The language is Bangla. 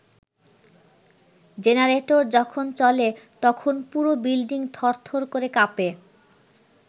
জেনারেটর যখন চলে তখন পুরা বিল্ডিং থরথর করে কাঁপে।